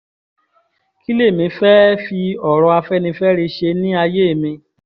kí lèmi fẹ́ẹ́ fi ọ̀rọ̀ afẹ́nifẹ́re ṣe ní àyè mi